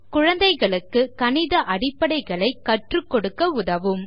குழந்தைகளுக்கு கணித அடிப்படைகளைப் கற்றுக் கொடுக்க உதவும்